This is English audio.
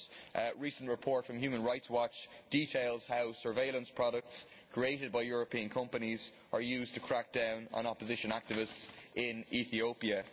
A recent report from Human Rights Watch details how surveillance products created by European companies are used to crack down on opposition activists in Ethiopia.